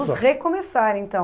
Vamos recomeçar, então.